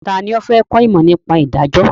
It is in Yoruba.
Ta ni ó fẹ́ kọ́ ìmọ̀ nípa ìdájọ́?